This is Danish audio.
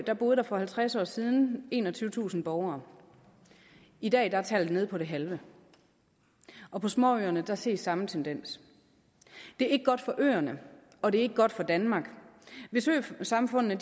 boede der for halvtreds år siden enogtyvetusind borgere i dag er tallet nede på det halve og på småøerne ses samme tendens det er ikke godt for øerne og det er ikke godt for danmark hvis øsamfundene